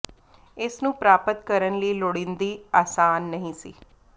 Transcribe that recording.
ਇਹ ਨੂੰ ਪ੍ਰਾਪਤ ਕਰਨ ਲਈ ਲੋੜੀਦੀ ਆਸਾਨ ਨਹੀ ਸੀ